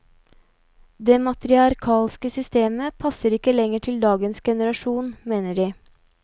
Det matriarkalske systemet passer ikke lenger til dagens generasjon, mener de.